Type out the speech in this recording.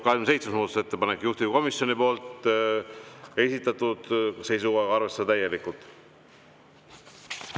27. muudatusettepanek on juhtivkomisjoni esitatud ja seisukohaga arvestada täielikult.